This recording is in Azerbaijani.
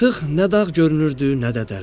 Artıq nə dağ görünürdü, nə də dərə.